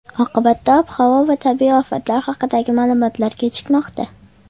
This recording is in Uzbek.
Oqibatda ob-havo va tabiiy ofatlar haqidagi ma’lumotlar kechikmoqda.